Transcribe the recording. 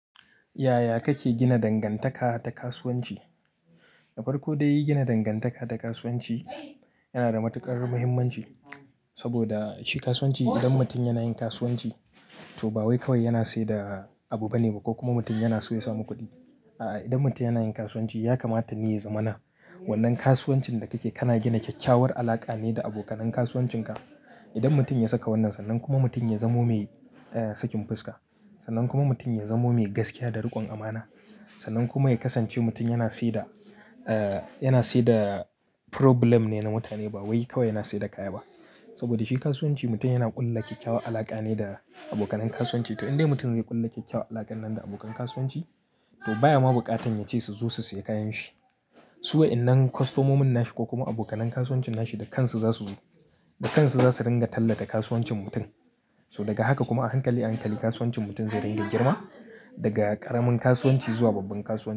Yaya kake gina dangantaka ta kasuwanci? Farko dai yi gina dangantaka ta kasuwanci yana da matuƙar muhimmanci. Saboda shi kasuwanci, idan mutum yana yin kasuwanci to ba wai kawai yana siyar da abu bane ko kuma mutum yana so ya samu kuɗi. A'a, idan mutum yana yin kasuwanci ya kamata ne ya zamana. Wannan kasuwancin da kake, kana gina kyakkyawar alaƙa ne da abokanan kasuwancinka. Idan mutum ya saka wannan, sannan kuma mutum ya zamo mai, eh, sakin fuska. Sannan kuma mutum ya zamo mai gaskiya da riƙon amana. Sannan kuma ya kasance mutum yana siyar da, eh, yana siyar da problem ne na mutane ba wai kawai yana siyar da kaya ba. Saboda shi kasuwanci mutum yana ƙulla kyakkyawar alaƙa ne da abokanan kasuwanci. To indai mutum zai ƙulla kyakkyawar alaƙa nan da abokan kasuwanci, to baya ma buƙatar yace su zo su siya kayan shi. Suwa, innan kwastomo mun nashi ko kuma abokanan kasuwancin nashi da kansu za su, da kansu za su ringa tallata kasuwancin mutum. So daga haka kuma a hankali a hankali kasuwancin mutum zai ringa girma daga ƙaramin kasuwanci zuwa babban kasuwanci.